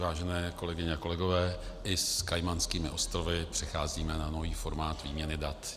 Vážené kolegyně a kolegové, i s Kajmanskými ostrovy přecházíme na nový formát výměny dat.